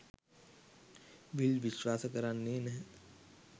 විල් විශ්වාස කරන්නෙ නැහැ